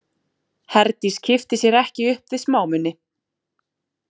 Herdís kippti sér ekki upp við smámuni.